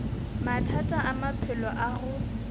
mathata a maphelo a go